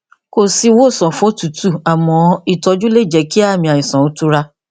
kò sí ìwòsàn fún òtútù àmọ ìtọjú lè jẹ kí àmì àìsàn ó tura